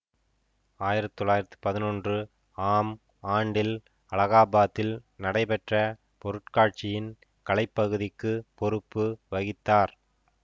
ஆயிரத்தி தொள்ளாயிரத்தி பதினொன்று ஆம் ஆண்டில் அலகாபாத்தில் நடைபெற்ற பொருட்காட்சியின் கலைப்பகுதிக்குப் பொறுப்பு வகித்தார்